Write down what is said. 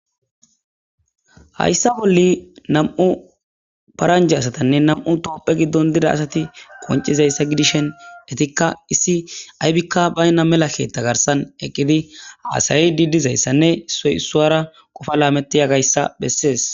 hayssa bolli nam7u paranje asatanne nam7u topphe giddon dida asati qoncizayssa gidishen detikka issi aybikka baynna melakkeetta garsan eqqidi aasayi didizayssanne issoy issuara qofa laameti yagayssa bessees